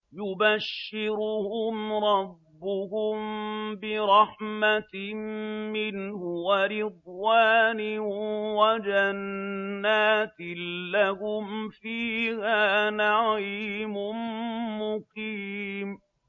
يُبَشِّرُهُمْ رَبُّهُم بِرَحْمَةٍ مِّنْهُ وَرِضْوَانٍ وَجَنَّاتٍ لَّهُمْ فِيهَا نَعِيمٌ مُّقِيمٌ